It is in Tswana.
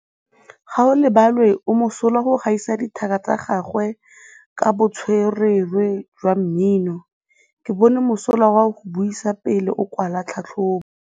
Gaolebalwe o mosola go gaisa dithaka tsa gagwe ka botswerere jwa mmino. Ke bone mosola wa go buisa pele o kwala tlhatlhobô.